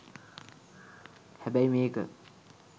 හැබැයි මේක